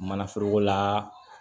Manaforokola